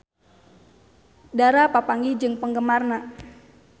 Dara papanggih jeung penggemarna